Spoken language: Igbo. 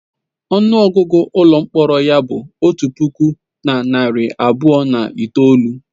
Ọnụ ọgụgụ ụlọ mkpọrọ ya bụ otu puku na narị abụọ na itoolu.